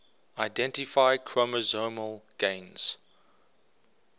identify chromosomal gains